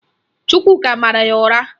Chukwuka mara ya ụra